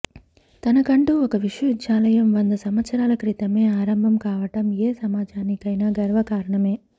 తన కంటూ ఒక విశ్వవిద్యాలయం వంద సంవత్సరాల క్రితమే ఆరంభం కావటం ఏ సమాజానికైనా గర్వ కారణమే